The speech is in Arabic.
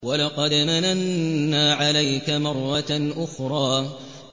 وَلَقَدْ مَنَنَّا عَلَيْكَ مَرَّةً أُخْرَىٰ